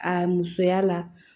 A musoya la